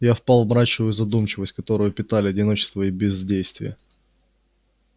я впал в мрачную задумчивость которую питали одиночество и бездействие